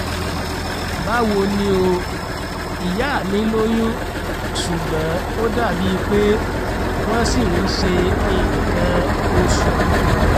báwo ni o? ìyá mi lóyún ṣùgbọ́n ó dàbí pé wọ́n ṣì ń ṣe nǹkan oṣù